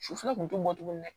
Sufɛ kun tɛ bɔ tuguni dɛ